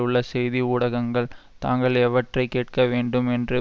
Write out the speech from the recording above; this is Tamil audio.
உள்ள செய்தி ஊடகங்கள் தாங்கள் எவற்றை கேட்க வேண்டும் என்று